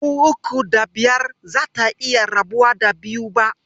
Dubu uku da biyar bazata iya rabuwa da biyu ba.